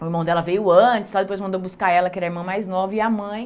O irmão dela veio antes de lá, depois mandou buscar ela, que era a irmã mais nova, e a mãe.